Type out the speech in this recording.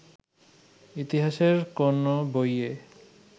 ইতিহাসের কোন বইয়ে